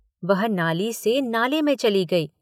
वह नाली से नाले में चली गयी।